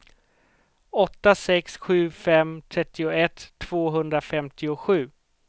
åtta sex sju fem trettioett tvåhundrafemtiosju